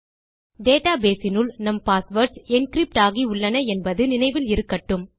database இனுள் நம் passwords encrypt ஆகி உள்ளன என்பது நினைவில் இருக்கட்டும்